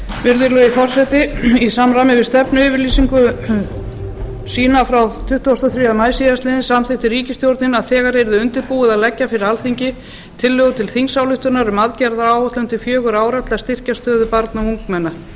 virðulegi forseti í samræmi við stefnuyfirlýsingu sína frá tuttugasta og þriðja maí síðastliðinn samþykkti ríkisstjórnin að þegar yrði undirbúið að leggja fyrir alþingi tillögu til þingsályktunar um aðgerðaáætlun til fjögurra ára til að styrkja stöðu barna og ungmenna